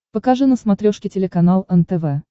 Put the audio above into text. покажи на смотрешке телеканал нтв